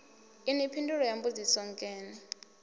inwi phindulo ya mbudziso nkene